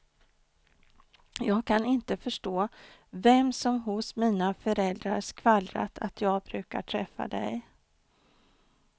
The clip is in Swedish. Jag kan inte förstå vem som hos mina föräldrar skvallrat att jag brukar träffa dig.